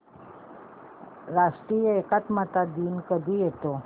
राष्ट्रीय एकात्मता दिन कधी येतो